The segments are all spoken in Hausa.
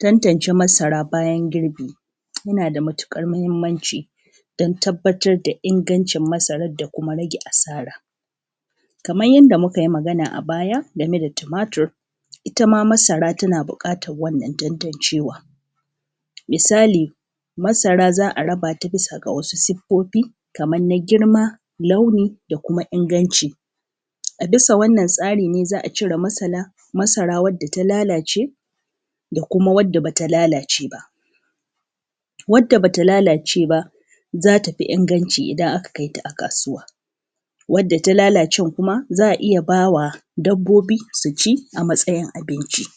tantance masara bayan girbi yana da matuƙar muhimmanci don tabbatar da ingancin masarar da kuma rage asara kaman yanda mukayi magana a baya game da tumatir itama masara tana buƙatar wannan tantancewa misali masara za a raba ta bisa ga wasu siffofi kaman na girma launi da kuma inganci a bisa wannan tsari ne za a cire masara wacce ta lallace da kuma wacce bata lallace ba wanda bata lallace ba zata fi inganci idan aka kaita a kasuwa wanda ta lallace kuma za a iya bawa dabbobi su su ci a matsayin abinci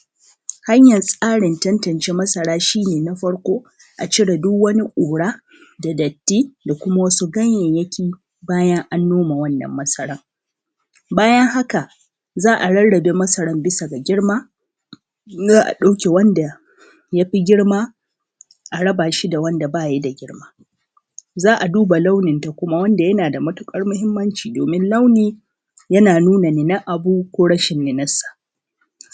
hanyar tsarin tantance masara shi ne na farko a cire duk wani ƙura da datti da kuma wasu ganyenyaki bayan an nome wannan masara bayan haka za a rarrabe masarar bisa ga girma za a ɗauke wanda yafi girma a raba shi da wanda baya da girma za a duba launin ta kuma wanda yana da matuƙar muhimmanci domin launi yana nuna nunar abu ko rashin nunar sa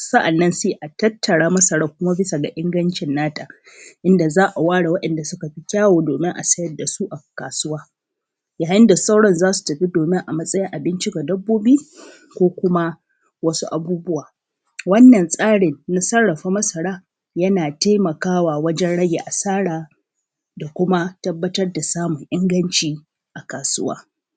sa’annan sai a tattara masarar kuma bisa ga ingancin nata inda za a ware waɗanɗa suka fi kyau domin a sayar dasu a kasuwa yayin da sauran zasu tafi domin a matsayin abinci ga dabbobi ko kuma wasu abubuwa wannan tsarin sarrafa masara yana taimakawa wajen rage asara da kuma tabbatar da samun inganci a kasuwa